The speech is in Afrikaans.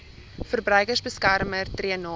verbruikersbeskermer tree namens